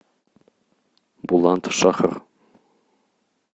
буландшахр